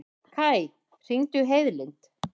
Kaj, hringdu í Heiðlind.